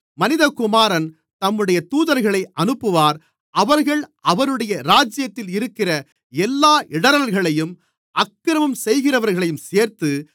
மனிதகுமாரன் தம்முடைய தூதர்களை அனுப்புவார் அவர்கள் அவருடைய ராஜ்யத்தில் இருக்கிற எல்லா இடறல்களையும் அக்கிரமம் செய்கிறவர்களையும் சேர்த்து